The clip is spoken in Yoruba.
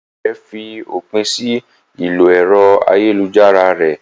Ìyá rẹ̀ fi òpin sí ìlò ẹ̀rọ ayélujára rẹ̀.